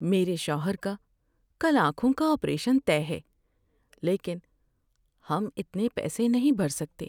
میرے شوہر کا کل آنکھوں کا آپریشن طے ہے لیکن ہم اتنے پیسے نہیں بھر سکتے۔